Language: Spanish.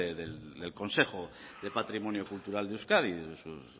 del consejo de patrimonio cultural de euskadi de sus